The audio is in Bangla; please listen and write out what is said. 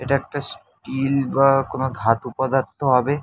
এটা একটা স্টিল বা কোনো ধাতু পদার্থ হবে।